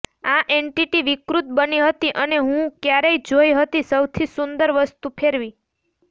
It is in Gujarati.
આ એન્ટિટી વિકૃત બની હતી અને હું ક્યારેય જોઈ હતી સૌથી સુંદર વસ્તુ ફેરવી